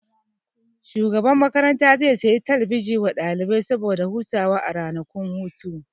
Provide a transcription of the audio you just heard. Shugaban makaranta zai sayi talabijin wa ɗalibai saboda hutawa a ranakun hutu